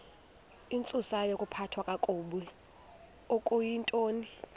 intsusayokuphathwa kakabi okuyintoni